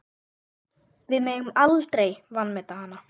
Við megum aldrei vanmeta hana.